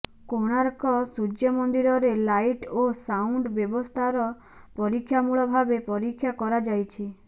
କୋଣାର୍କ ସୂର୍ଯ୍ୟମନ୍ଦିରରେ ଲାଇଟ୍ ଓ ସାଉଣ୍ଡ୍ ବ୍ୟବସ୍ଥାର ପରୀକ୍ଷାମୂଳ ଭାବେ ପରୀକ୍ଷା କରାଯାଇଛି